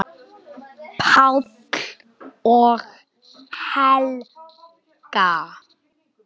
Páll og Helga.